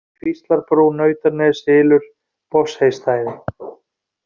Mýri, Kvíslarbrú, Nautaneshylur, Botnsheystæði